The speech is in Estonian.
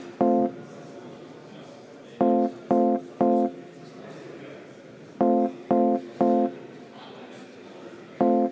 Austatud Riigikogu, me oleme muudatusettepanekud läbi vaadanud.